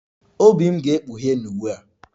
Obi m ga-ekpughe n'uwe a